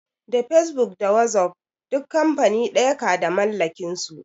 Da fesbuk da wasuf duk kamfani ɗaya ka da mallakin su